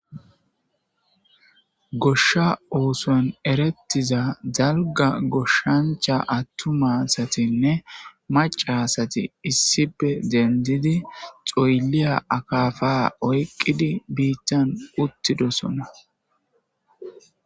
Gosha osuwan eretiza dalga goshancha atuma azatinne maca asati issippe dendid xoyliya akapa oykid bitan utidosona